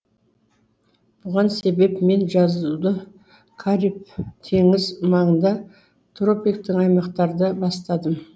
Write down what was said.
бұған себеп мен жазуды кариб теңізі маңында тропиктік аймақтарда бастадым